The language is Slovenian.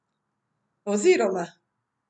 Oziroma.